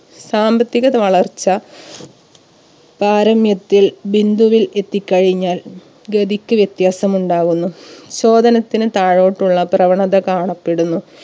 സാമ്പത്തികത വളർച്ച പാരമ്യത്തിൽ ബിന്ദുവിൽ എത്തി കഴിഞ്ഞാൽ ഗതിക്ക് വ്യത്യാസമുണ്ടാവുന്നു. ചോദനത്തിന് താഴോട്ടുള്ള പ്രവണത കാണപ്പെടുന്നു